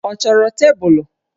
Ọ chọrọ tebụlụ?